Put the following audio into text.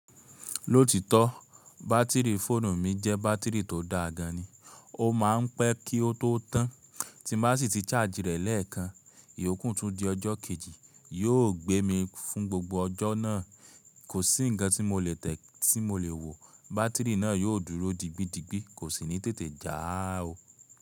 Lóòtítọ́ bátìrì fóònù mi jẹ́ bátìrì tó daa gan ni. Ó ma ń pẹ́ kí o tó tàn. Tí bá sì ti ṣájì rẹ̀ lẹ́ẹ̀kan, ìyókùn tó di ọjọ́ kejì yíò gbé mi fún gbogbo ọjọ́ náà. Kò sí ǹkan tí mo lè tẹ̀ tí mo lè wò. Bátìrì náà yóò dúró digbidigbi kò sì ní tètè já o.